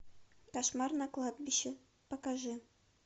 кошмар на кладбище покажи